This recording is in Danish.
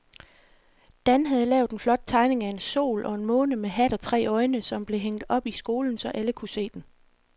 Dan havde lavet en flot tegning af en sol og en måne med hat og tre øjne, som blev hængt op i skolen, så alle kunne se den.